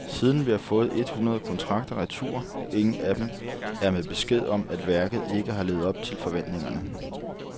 Siden har vi fået under et hundrede kontrakter retur, og ingen af dem er med beskeden om, at værket ikke har levet op til forventningerne.